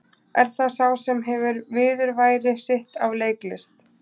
Er það sá sem hefur viðurværi sitt af leiklist?